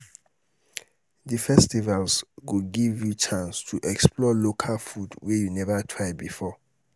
di festivals go give you di chance to explore local food wey you never try before